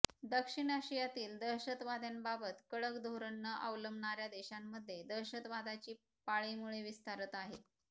दक्षिण आशियातील दहशतवाद्यांबाबत कडक धोरण न अवलंबणाऱ्या देशांमध्ये दहशतवादाची पाळेमुळे विस्तारत आहेत